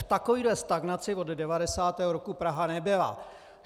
V takovéhle stagnaci od 90. roku Praha nebyla.